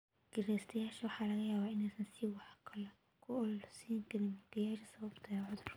Kireystayaasha waxaa laga yaabaa inaysan si wax ku ool ah usiinin mulkiilayaasha sababtoo ah cudurka